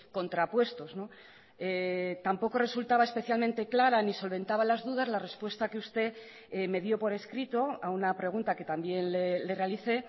contrapuestos tampoco resultaba especialmente clara ni solventaba las dudas la respuesta que usted me dio por escrito a una pregunta que también le realicé